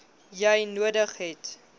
jy nodig het